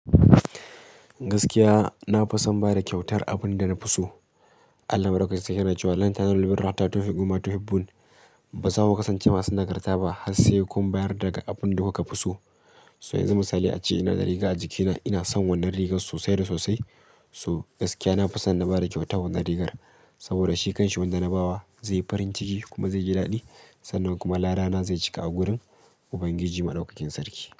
Gaskiya nafi son bada kyautar abinda nafi so Allah Madaukaki sarki na cewa "Lan ta yanzu, lubburruwa hata tafiku ma tahibbul ba za ku kasance masu nagarta ba har sai kun bayar daga abunda kuka fi so. So yanzu misali ace inada riga ajiki na ina san wannan rigar sosai da sosai. So gaskiya na fi son na bada kyauta wannan rigar saboda shi kanshi wanda na bawa zai yi farin ciki kuma zai ji daɗi sannan kuma larana zai cika a wurin Ubangiji Maɗaukakin Sarki.